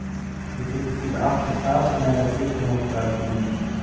Ég þykist vita allt um það meðan við fikrum okkur að bílnum.